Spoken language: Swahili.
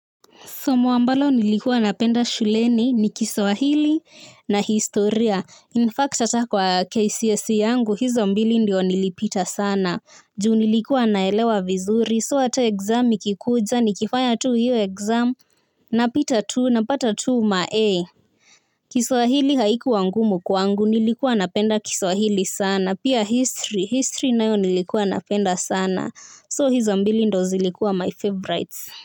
Somo ambalo nilikuwa napenda shuleni ni kiswahili na historia. In fact, ata kwa KCSE yangu, hizo mbili ndio nilipita sana. Ju nilikuwa naelewa vizuri. So hata exam ikikuja, nikifanya tu hio exam. Napita tu, napata tu ma A. Kiswahili haikuwa ngumu kwangu, nilikuwa napenda kiswahili sana. Pia history, history nayo nilikuwa napenda sana. So hizo mbili ndo zilikuwa my favorites.